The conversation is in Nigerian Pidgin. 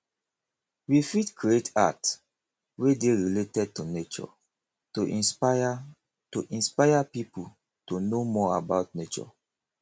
we fit create art wey dey related to nature to inspire to inspire pipo to know more about nature